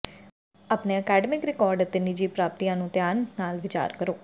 ਆਪਣੇ academic record ਅਤੇ ਨਿੱਜੀ ਪ੍ਰਾਪਤੀਆਂ ਨੂੰ ਧਿਆਨ ਨਾਲ ਵਿਚਾਰ ਕਰੋ